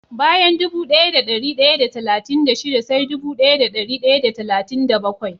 Bayan dubu daya da dari daya da talatin da shida sai dubu daya da dari daya da talatin da bakwai